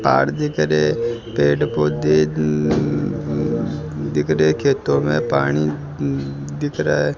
ताड़ दिख रहे है पेड़ पौधे दिख रहे खेतो मे पानी दिख रहा है।